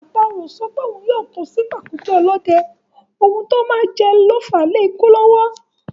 Àparò ò sọ pé òun yóò kó sí pàkúté ọ̀lọ́dẹ, ohun tó mọ̀ọ́ jẹ ló fàá lékú lọ́wọ́.